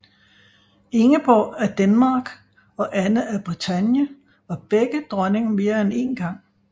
Ingeborg af Denmark og Anne af Bretagne var begge dronning mere end én gang